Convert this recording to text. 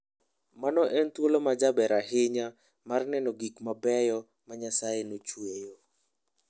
Mano en thuolo majaber ahinya mar neno gik mabeyo ma Nyasaye nochueyo.